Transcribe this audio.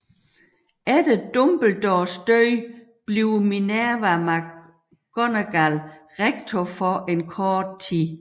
Efter Dumbledores død bliver Minerva McGonagall rektor for en kort tid